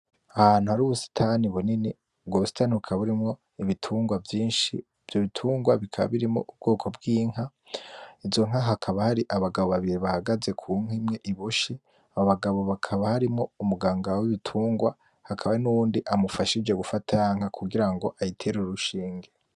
Ahantu hari ubusitani bunini. Ubwo busitani bukaba burimwo ibitungwa vyinshi. Ivyo bitungwa bikaba birimwo ubwoko bwinka izo nka hakaba hari abagabo babiri bahagaze ku nka iboshe uwo hababa harimwo umuganga wibitungwa nuwundi amufashije